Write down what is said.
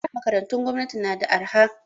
A da makarantun gwamnati na da arha